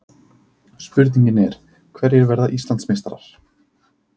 Spurningin er: Hverjir verða Íslandsmeistarar?